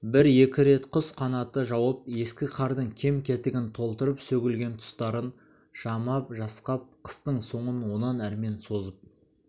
бір-екі рет құс қанаты жауып ескі қардың кем-кетігін толтырып сөгілген тұстарын жамап-жасқап қыстың соңын онан әрмен созып